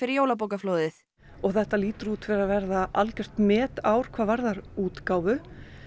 jólabókaflóðið og þetta lítur út fyrir að verða algjört metár hvað varðar útgáfu